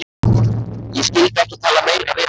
Ég skyldi ekki tala meira við hann.